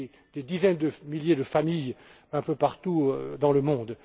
pour des dizaines de milliers de familles, un peu partout dans le monde.